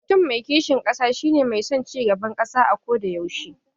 Mutum mai kishin ƙasa shi ne mai son cigaban ƙasa ako da yaushe.